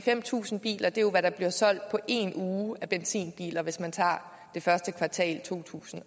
fem tusind biler er jo hvad der bliver solgt på en uge af benzinbiler hvis man tager første kvartal af to tusind